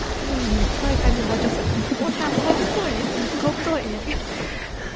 мен енді қалай каминг аут жасадым ортам қауіпсіз ғой менің қауіпті ғой менің